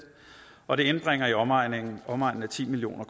og det indbringer i omegnen omegnen af ti million